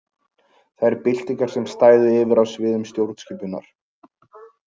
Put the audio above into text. Þær byltingar sem stæðu yfir á sviðum stjórnskipunar.